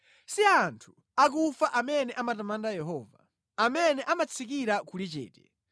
Si anthu akufa amene amatamanda Yehova, amene amatsikira kuli chete;